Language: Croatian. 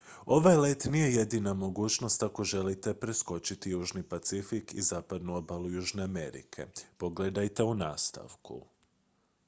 ovaj let nije jedina mogućnost ako želite preskočiti južni pacifik i zapadnu obalu južne amerike. pogledajte u nastavku